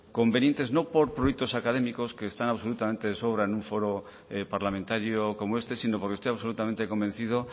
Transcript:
convenientes no por productos académicos que están absolutamente de sobra en un foro parlamentario como este sino porque estoy absolutamente convencido